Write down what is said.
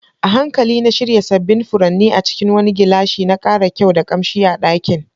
A hankali na shirya sabbin furanni a cikin wani gilashi, na kara kyau da kamshi a dakin.